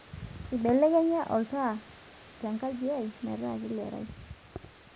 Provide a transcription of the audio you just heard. imbelekenya oltaa te nkaji ai metaa kelerai